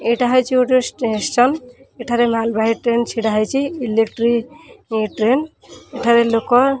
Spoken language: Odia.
ଏଇଟା ହେଉଛି ଗୋଟେ ଷ୍ଟେସନ୍ ଏଠାରେ ମାଲ ବାହି ଟ୍ରେନ ଛିଡା ହେଇଚି ଇଲେକ୍ଟ୍ରିକ ଏ ଟ୍ରେନ ଏଠାରେ ଲୋକ।